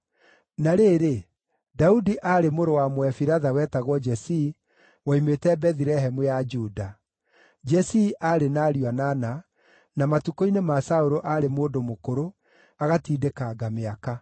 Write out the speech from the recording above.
Na rĩrĩ, Daudi aarĩ mũrũ wa Mũefiratha wetagwo Jesii, woimĩte Bethilehemu ya Juda. Jesii aarĩ na ariũ anana, na matukũ-inĩ ma Saũlũ aarĩ mũndũ mũkũrũ, agatindĩkanga mĩaka.